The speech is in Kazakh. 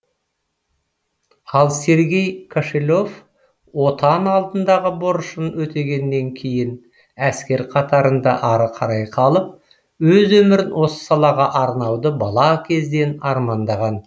ал сергей кошелев отан алдындағы борышын өтегеннен кейін әскер қатарында ары қарай қалып өз өмірін осы салаға арнауды бала кезден армандаған